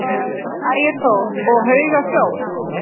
Ægir Þór: Og hauga sjór?